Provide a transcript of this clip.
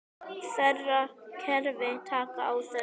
Þeirra kerfi taki á þessu.